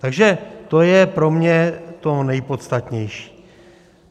Takže to je pro mě to nejpodstatnější.